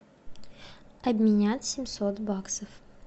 обменять семьсот баксов